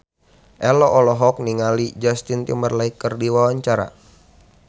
Ello olohok ningali Justin Timberlake keur diwawancara